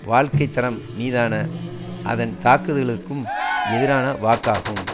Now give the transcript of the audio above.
வாழ்க்கை தரம் மீதான அதன் தாக்குதளுக்கும் எதிரான வாக்காகும்